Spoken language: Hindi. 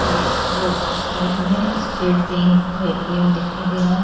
ये रोड के उस साइड मे स्टेट बैंक का ए. टी. एम. दिखाई दे रहा है।